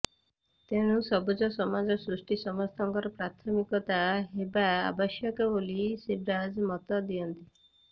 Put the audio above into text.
ତେଣୁ ସବୁଜ ସମାଜ ସୃଷ୍ଟି ସମସ୍ତଙ୍କର ପ୍ରାଥମିକତା ହେବା ଆବଶ୍ୟକ ବୋଲି ଶିବରାଜ୍ ମତ ଦିଅନ୍ତି